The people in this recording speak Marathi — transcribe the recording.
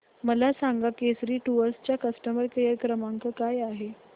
मला सांगा केसरी टूअर्स चा कस्टमर केअर क्रमांक काय आहे